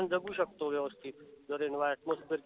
पण जगू शकतो व्यवस्थित